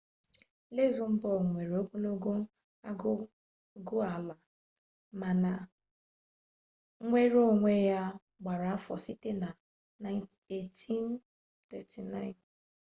luzembọọgụ nwere ogologo agụgụala mana nnwere onwe ya gbara afọ sitere na 1839